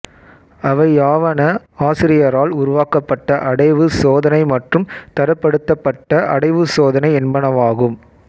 அவையாவன ஆசிரியரால் உருவாக்கப்பட்ட அடைவு சோதனை மற்றும் தரப்படுத்தபட்ட அடைவுச் சோதனை என்பனவாகும்